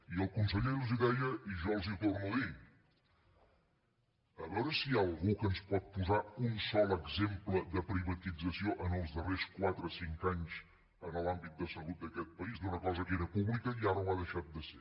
i el conseller els ho deia i jo els ho torno a dir a veure si hi ha algú que ens pot posar un sol exemple de privatització en els darrers quatre cinc anys en l’àmbit de salut d’aquest país d’una cosa que era pública i ara ho ha deixat de ser